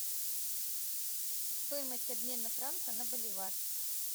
стоимость обмена франка на боливар